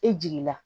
E jiginna